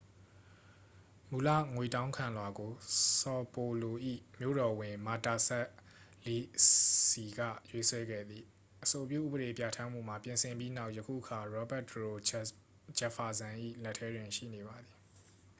မူလ ငွေတောင်းခံလွှာကို ဆော်ပေါ်လို၏ မြို့တော်ဝန် မာတာစပ်လီစီ က ရေးဆွဲခဲ့သည် အဆိုပြု ဥပဒေပြဋ္ဌာန်းမှုမှာ ပြင်ဆင်ပြီးနောက် ယခုအခါ ရောဘတ်တရိုဂျက်ဖာစန် ၏ လက်ထဲတွင် ရှိနေပါသည်